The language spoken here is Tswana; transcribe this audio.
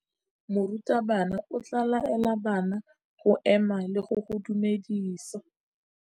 Morutabana o tla laela bana go ema le go go dumedisa.